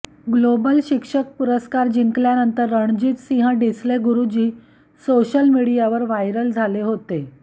global शिक्षक पुरस्कार जिंकल्यानंतर रणजितसिंह डिसले गुरुजी सोशल मीडियावर व्हायरल झाले होते